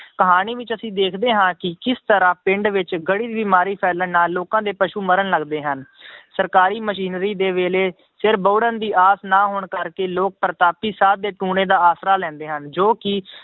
ਕਹਾਣੀ ਵਿੱਚ ਅਸੀਂ ਦੇਖਦੇ ਹਾਂ ਕਿ ਕਿਸ ਤਰ੍ਹਾਂ ਪਿੰਡ ਵਿੱਚ ਗੜੀ ਬਿਮਾਰੀ ਫੈਲਣ ਨਾਲ ਲੋਕਾਂ ਦੇ ਪਸੂ ਮਰਨ ਲੱਗਦੇ ਹਨ ਸਰਕਾਰੀ ਮਸ਼ੀਨਰੀ ਦੇ ਵੇਲੇ ਸਿਰ ਬਹੁੜਨ ਦੀ ਆਸ ਨਾ ਹੋਣ ਕਰਕੇ ਲੋਕ ਪ੍ਰਤਾਪੀ ਸਾਧ ਦੇ ਟੂਣੇ ਦਾ ਆਸਰਾ ਲੈਂਦੇ ਹਨ ਜੋ ਕਿ